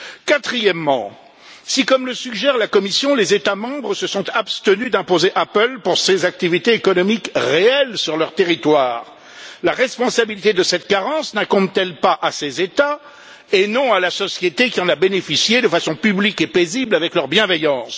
Quatrièmement, si, comme le suggère la Commission, les États membres se sont abstenus d'imposer Apple pour ses activités économiques réelles sur leur territoire, la responsabilité de cette carence n'incombe t elle pas à ces États et non à la société qui en a bénéficié de façon publique et paisible avec leur bienveillance?